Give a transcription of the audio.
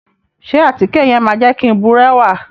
Ṣe àtíke yẹn ma jẹ ki n burẹwa?